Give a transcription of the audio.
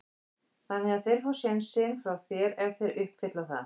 Þannig að þeir fá sénsinn hjá þér ef þeir uppfylla það?